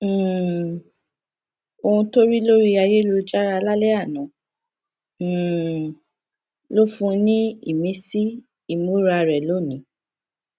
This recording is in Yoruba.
um ohun tó rí lórí ayélujára lálẹ àná um ló fún un ní ìmísí ìmúra rẹ lónìí